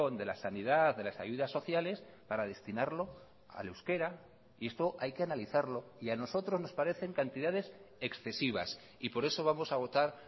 de la sanidad de las ayudas sociales para destinarlo al euskera y esto hay que analizarlo y a nosotros nos parecen cantidades excesivas y por eso vamos a votar